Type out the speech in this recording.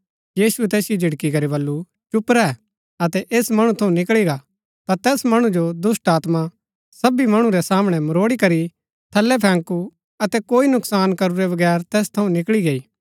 यीशुऐ तैसिओ झिड़की करी बल्लू चुप रैह अतै ऐस मणु थऊँ निकळी गा ता तैस मणु जो दुष्‍टात्मा सभी मणु रै सामणै मरोड़ी करी थलै फैंकू अतै कोई नुकसान करूरै बगैर तैस थऊँ निकळी गैई